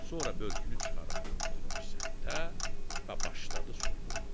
Sonra börkünü çıxarıb atdı bir səmtə və başladı soyunmağa.